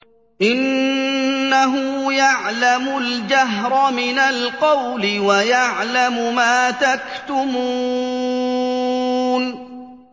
إِنَّهُ يَعْلَمُ الْجَهْرَ مِنَ الْقَوْلِ وَيَعْلَمُ مَا تَكْتُمُونَ